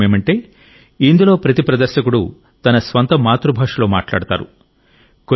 విశేషమేమిటంటే ఇందులో ప్రతి ప్రదర్శకుడు తన స్వంత మాతృభాషలో మాట్లాడతారు